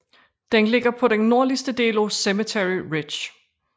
Den ligger på den nordligste del af Cemetery Ridge